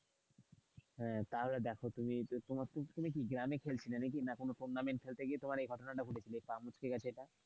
হ্যাঁ তাহলে দেখো তুমি তুমি কি গ্রামে খেলছিলে নাকি? না কোন টুর্নামেন্ট খেলতে গিয়ে তোমার এই ঘটনাটা ঘটেছিল, এই পা মুচকে গেছিলো এটা.